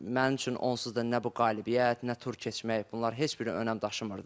Mənim üçün onsuz da nə bu qalibiyyət, nə tur keçmək, bunlar heç biri önəm daşımırdı.